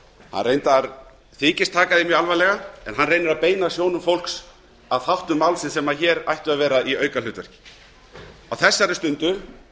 þykist reyndar taka því mjög alvarlega en reynir að beina sjónum fólks að þáttum málsins sem ættu að vera aukaatriði hér á þessari stundu